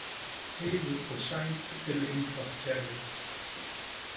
Heiður og sæmd eru einfalt kerfi.